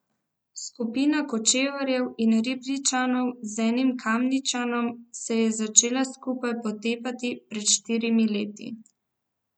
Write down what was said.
Skupina Kočevarjev in Ribničanov z enim Kamničanom se je začela skupaj potepati pred štirimi leti.